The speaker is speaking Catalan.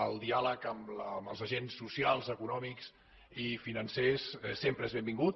el diàleg amb els agents socials econòmics i financers sempre és benvingut